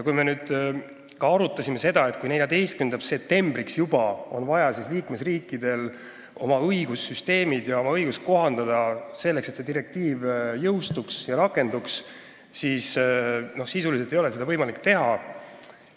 Me arutasime, et kuigi juba 14. septembriks on vaja liikmesriikidel oma õigussüsteeme, oma õigust kohandada, selleks et see direktiiv jõustuks ja rakenduks, ei ole seda sisuliselt võimalik teha.